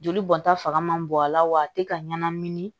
Joli bɔnta fanga man bon a la wa a tɛ ka ɲɛnamini